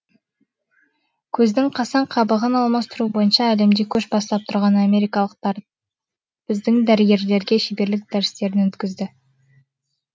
көздің қасаң қабығын алмастыру бойынша әлемде көш бастап тұрған америкалықтар біздің дәрігерлерге шеберлік дәрістерін өткізді